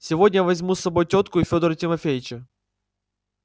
сегодня возьму с собой тётку и федора тимофеича